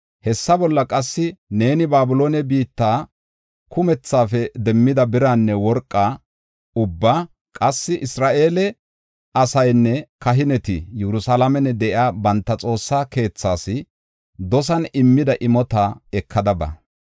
Hessa bolla qassi neeni Babiloone biitta kumethaafe demmida biraanne worqaa ubbaa, qassi Isra7eele asaynne kahineti Yerusalaamen de7iya banta Xoossaa keethas dosan immida imota ekada ba.